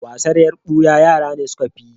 Wasan yar buya yara ne suka fi yi.